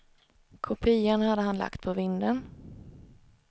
Kopian hade han lagt på vinden.